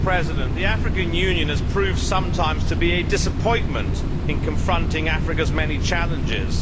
Madam President, the African Union has proved sometimes to be a disappointment in confronting Africa's many challenges.